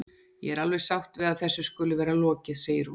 Ég er alveg sátt við að þessu skuli vera lokið, segir hún.